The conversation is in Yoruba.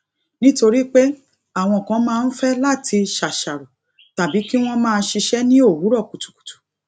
nítorí pé àwọn kan máa ń fé láti ṣàṣàrò tàbí kí wón máa ṣiṣé ní òwúrò kùtùkùtù